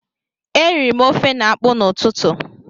E riri m ofe na akpụ n'ụtụtụ